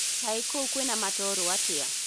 Kaĩ kũu kwĩna matoro atĩa